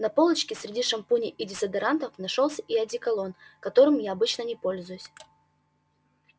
на полочке среди шампуней и дезодорантов нашёлся и одеколон которым я обычно не пользуюсь